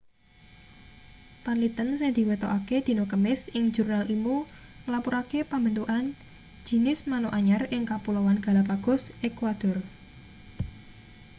panliten sing diwetokake dina kamis ing jurnal ilmu nglapurake pambentukan jinis manuk anyar ing kapuloan galapagos ekuador